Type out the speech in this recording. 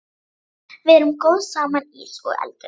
Við erum góð saman, ís og eldur.